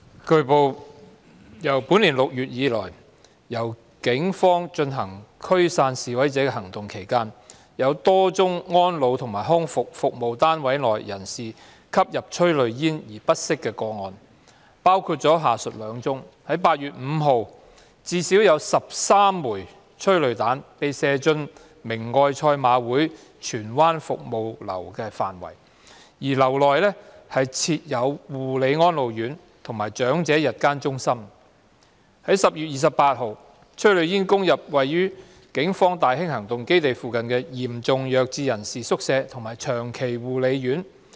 據報，自本年6月以來，在警方進行驅散示威者行動期間，有多宗安老及康復服務單位內人士因吸入催淚煙而不適的個案，包括下述兩宗 ：8 月5日，至少有13枚催淚彈被射進明愛賽馬會荃灣服務樓的範圍，而樓內設有護理安老院和長者日間護理中心； 10月28日，催淚煙攻入位於警方大興行動基地附近的嚴重弱智人士宿舍及長期護理院。